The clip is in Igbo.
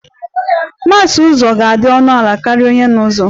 Mass n'ụzọ ga-adị ọnụ ala karịa onye n'ụzọ